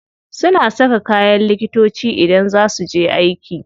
Suna saka kayan likitoci idan za su je aiki.